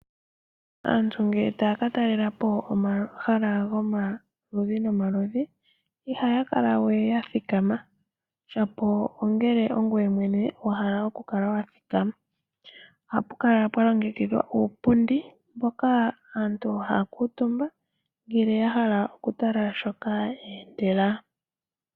Aantu ngele taya ka talela po omahala gomaludhi nomaludhi ihaya kala we ya thikama shapo ongele wala ongoye wa hala okuthikama. Ohapu kala pwa longekidhwa uupundi mboka aantu haya kuutumba ngele ya hala okutala shoka yeendela.